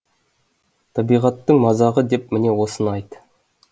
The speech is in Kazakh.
табиғаттың мазағы деп міне осыны айт